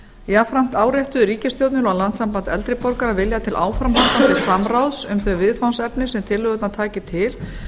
jafnframt áréttaði ríkisstjórnin og landssamband eldri borgara vilja til áframhaldandi samráðs um þau viðfangsefni sem tillögurnar tækju til